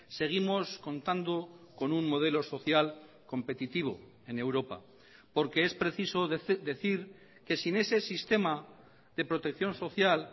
seguimos contando con un modelo social competitivo en europa porque es preciso decir que sin ese sistema de protección social